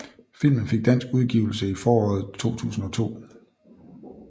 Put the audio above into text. Filmen fik dansk udgivelse i foråret 2002